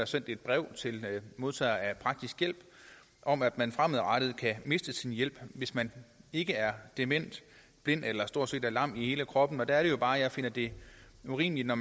sendt et brev til en modtager af praktisk hjælp om at man fremadrettet kan miste sin hjælp hvis man ikke er dement blind eller stort set lam i hele kroppen der er det jo bare at jeg finder det urimeligt at